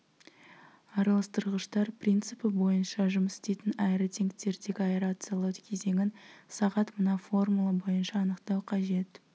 араластырғыштар принципі бойынша жұмыс істейтін аэротенктердегі аэрациялау кезеңін сағат мына формула бойынша анықтау қажет